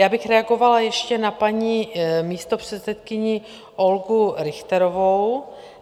Já bych reagovala ještě na paní místopředsedkyni Olgu Richterovou.